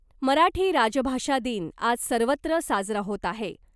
मराठी राजभाषा दिन आज सर्वत्र साजरा होत आहे .